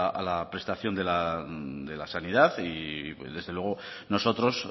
a la prestación de la sanidad y desde luego nosotros